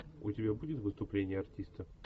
у тебя будет выступление артиста